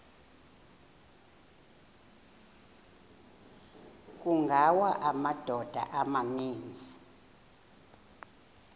kungawa amadoda amaninzi